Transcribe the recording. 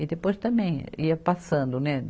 E depois também ia passando, né?